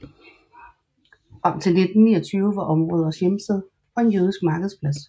Frem til 1929 var området også hjemsted for en jødisk markedsplads